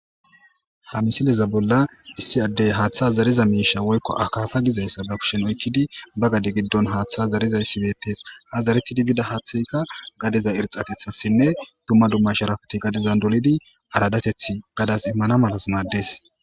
Ha misileza bolla issi addey haaththa zariza miisha woykko akaafa gizayssa ba kushen oykkidi ba gade giddon haaththa zariza issibeetes ha zaretidi bida haaththeyka gadeza irxatethassinne dumma dumma sharafati gadizan dolidi aradateth gadas immana malas maddees.